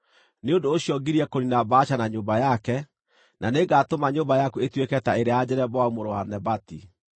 Nĩ ũndũ ũcio ngirie kũniina Baasha na nyũmba yake, na nĩngatũma nyũmba yaku ĩtuĩke ta ĩrĩa ya Jeroboamu mũrũ wa Nebati.